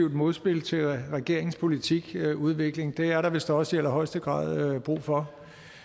modspil til regeringens politikudvikling det er der vist også i allerhøjeste grad brug for